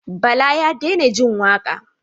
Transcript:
Bala ya daina jin waƙa.